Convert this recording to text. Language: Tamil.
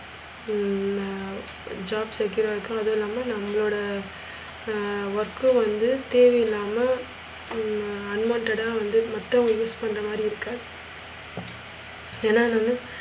ஹம் job secure இருக்கும். அதுவும் இல்லாம, நம்மளோட ஹம் work வந்து தேவையில்லாம. ஹம் unwanted ஆ வந்து மத்தவங்க use பண்ற மாதிரி இருக்க ஏன்னா நானு